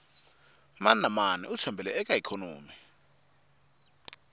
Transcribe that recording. mani na mani u tshembele ka ikhonomi